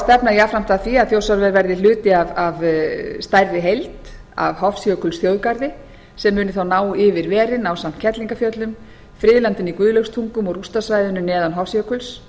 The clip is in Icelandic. stefna jafnframt að því að þjórsárver verði hluti af stærri heild af hofsjökulsþjóðgarði sem muni þá ná yfir verin ásamt kerlingarfjöllum friðlandinu í guðlaugstungum og rústasvæðinu neðan hofsjökuls